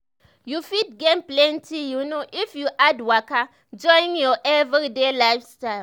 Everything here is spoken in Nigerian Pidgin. you fit gain plenty you know if you add waka join your everyday lifestyle.